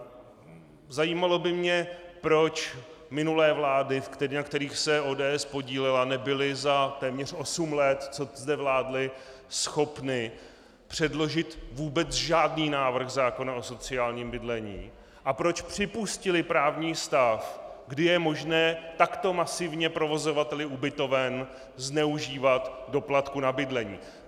Zajímalo by mě, proč minulé vlády, na kterých se ODS podílela, nebyly za téměř osm let, co zde vládly, schopny předložit vůbec žádný návrh zákona o sociálním bydlení a proč připustily právní stav, kdy je možné takto masivně provozovateli ubytoven zneužívat doplatků na bydlení.